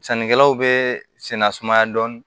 Sannikɛlaw bɛ senna sumaya dɔɔni